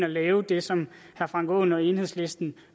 lave det som herre frank aaen og enhedslisten